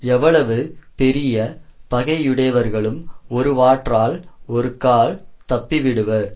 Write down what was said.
எவ்வளவு பெரிய பகையுடையவர்களும் ஒருவாற்றால் ஒருகால் தப்பிவிடுவர்